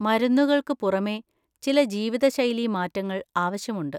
മരുന്നുകൾക്ക് പുറമേ, ചില ജീവിതശൈലീ മാറ്റങ്ങൾ ആവശ്യമുണ്ട്.